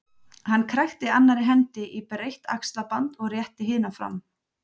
Hann krækti annarri hendi í breitt axlaband og rétti hina fram.